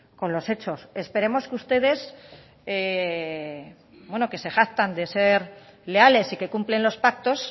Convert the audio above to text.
con los hechos esperemos que ustedes que se jactan de ser leales y que cumplen los pactos